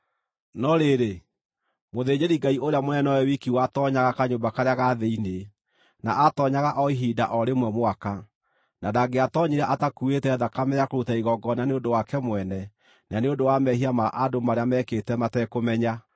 No rĩrĩ, mũthĩnjĩri-Ngai ũrĩa mũnene nowe wiki watoonyaga kanyũmba karĩa ga thĩinĩ, na aatoonyaga o ihinda o rĩmwe mwaka, na ndangĩatoonyire atakuuĩte thakame ya kũruta igongona nĩ ũndũ wake mwene na nĩ ũndũ wa mehia ma andũ marĩa meekĩte matekũmenya.